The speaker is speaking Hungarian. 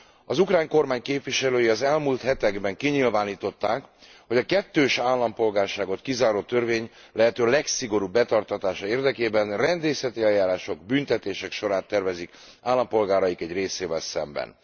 Az ukrán kormány képviselői az elmúlt hetekben kinyilvánították, hogy a kettős állampolgárságot kizáró törvény lehető legszigorúbb betartatása érdekében rendészeti eljárások, büntetések sorát tervezik állampolgáraik egy részével szemben.